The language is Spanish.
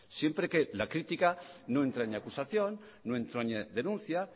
siempre que la crítica no entraña acusación no entrañe denuncia